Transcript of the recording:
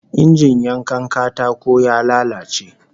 Injin yankan katako ya lalace